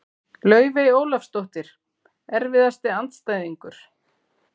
Laufey Ólafsdóttir Erfiðasti andstæðingur?